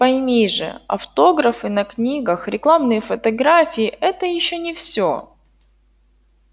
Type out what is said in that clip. пойми же автографы на книгах рекламные фотографии это ещё не все